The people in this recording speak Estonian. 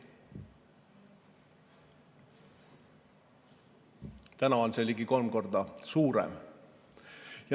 Täna on see ligi kolm korda suurem.